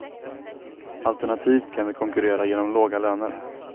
Alternativt kan vi konkurrera genom låga löner.